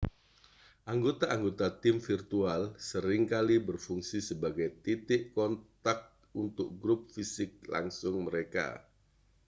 anggota-anggota tim virtual sering kali berfungsi sebagai titik kontak untuk grup fisik langsung mereka